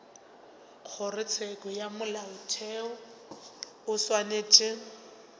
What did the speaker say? kgorotsheko ya molaotheo o swanetše